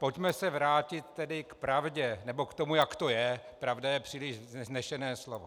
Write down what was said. Pojďme se vrátit tedy k pravdě, nebo k tomu, jak to je - pravda je příliš vznešené slovo.